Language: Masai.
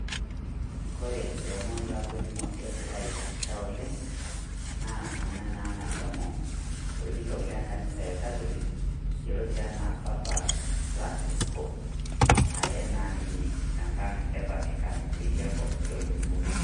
Kore lomoon latoning'o deet laitisha oleng naa ana naa naishomo olkitok le kanisa e katolik eluotei anaa Papa Fransinco ayaa naa ninye te nkaang' e vatikan tedia nkop e musungu.